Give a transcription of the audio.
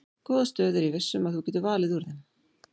Góða stöðu ég er viss um að þú getur valið úr þeim.